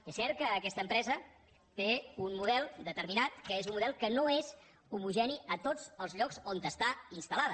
és cert que aquesta empresa té un model determinat que és un model que no és homogeni a tots els llocs on està instal·lada